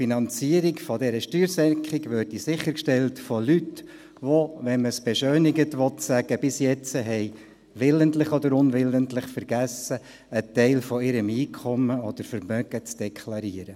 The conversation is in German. Die Finanzierung dieser Steuersenkung würde durch Leute sichergestellt, die, wenn man es beschönigend sagen will, bis jetzt willentlich oder unwillentlich vergessen haben, einen Teil ihres Einkommens oder Vermögens zu deklarieren.